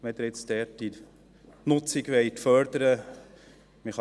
Wenn Sie deren Nutzung fördern wollen: